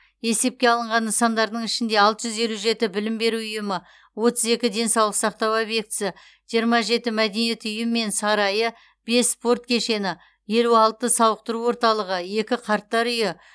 есепке алынған нысандардың ішінде алты жүз елу жеті білім беру ұйымы отыз екі денсаулық сақтау объектісі жиырма жеті мәдениет үйі мен сарайы бес спорт кешені елу алты сауықтыру орталығы екі қарттар үйі